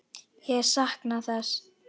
Ég sakna þess.